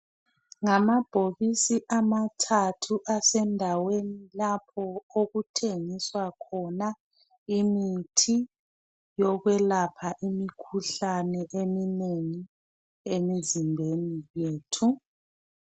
Ngamabhokisi amathathu asendaweni lapho okuthengiswa khona imithi yokwelapha imikhuhlane eminengi emizimbeni yethu